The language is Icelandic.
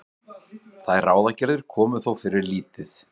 Þær ráðagerðir komu þó fyrir lítið.